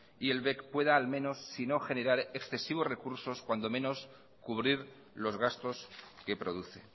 y el bec pueda al menos si no generar excesivos recursos cuando lo menos cubrir los gastos que produce